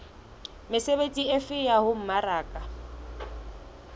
mesebetsi efe ya ho mmaraka